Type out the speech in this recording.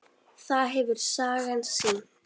Það hefur sagan sýnt.